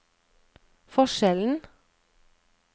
forskjellen